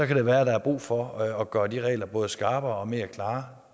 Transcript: kan være der er brug for at gøre de regler både skarpere og mere klare